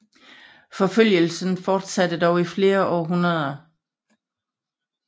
Forfølgelsen fortsatte dog i flere århundreder